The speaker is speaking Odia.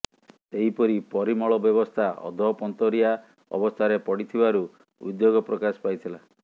ସେହିପରି ପରିମଳ ବ୍ୟବସ୍ଥା ଅଧପନ୍ତରିଆ ଅବସ୍ଥାରେ ପଡ଼ିଥିବାରୁ ଉଦ୍ବେଗ ପ୍ରକାଶ ପାଇଥିଲା